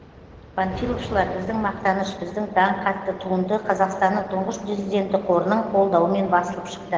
панфиловшылар біздің мақтаныш біздің даңқ атты туынды қазақстанның тұңғыш президенті қорының қолдауымен басылып шықты